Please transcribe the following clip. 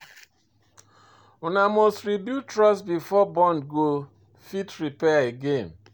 Una must rebuild trust before bond go fit repair again.